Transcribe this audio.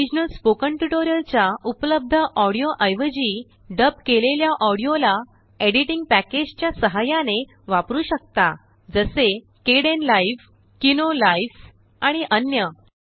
आताओरिजिनल spoken ट्यूटोरियलच्या उपलब्धऑडिओ एवजीडब केलेल्याऑडिओलाएडिटिंग प्याकेजच्या सहाय्याने वापरू शकता जसेKdenLive किनो लाइव्ह्ज आणि अन्य